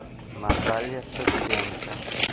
наталья шевченко